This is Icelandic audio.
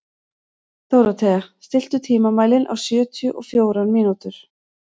Dórothea, stilltu tímamælinn á sjötíu og fjórar mínútur.